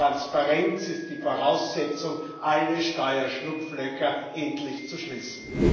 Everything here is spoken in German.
Die Transparenz ist die Voraussetzung dafür, alle Steuerschlupflöcher endlich zu schließen.